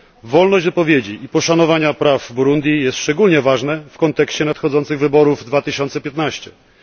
Wolność wypowiedzi i poszanowanie praw w Burundi jest szczególnie ważne w kontekście nadchodzących wyborów w 2015 r.,